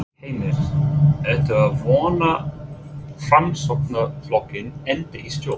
Heimir: Ertu að vona að Framsóknarflokkurinn endi í stjórn?